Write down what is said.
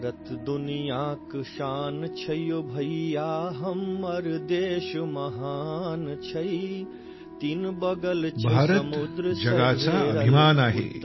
भारत जगाचा अभिमान आहे